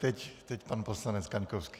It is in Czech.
Teď pan poslanec Kaňkovský.